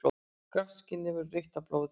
Grátt skinnið verður rautt af blóði.